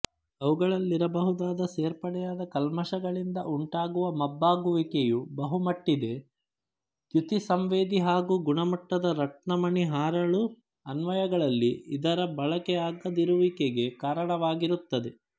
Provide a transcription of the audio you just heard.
ಅವುಗಳಲ್ಲಿರಬಹುದಾದ ಸೇರ್ಪಡೆಯಾದ ಕಲ್ಮಶಗಳಿಂದ ಉಂಟಾಗುವ ಮಬ್ಬಾಗುವಿಕೆಯು ಬಹುಮಟ್ಟಿದೆ ದ್ಯುತಿಸಂವೇದಿ ಹಾಗೂ ಗುಣಮಟ್ಟದ ರತ್ನಮಣಿಹರಳು ಅನ್ವಯಗಳಲ್ಲಿ ಇದರ ಬಳಕೆಯಾಗದಿರುವಿಕೆಗೆ ಕಾರಣವಾಗಿರುತ್ತದೆ